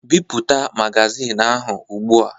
Bipụta magazin ahụ ugbu a!